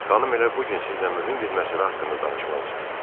Xanım elə bu gün sizlə mühüm bir məsələ haqqında danışmaq istəyir.